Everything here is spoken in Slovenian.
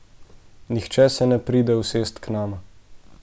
Nihče se ne pride usest k nama.